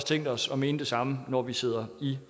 tænkt os at mene det samme når vi sidder i